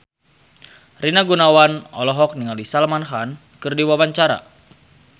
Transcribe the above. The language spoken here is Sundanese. Rina Gunawan olohok ningali Salman Khan keur diwawancara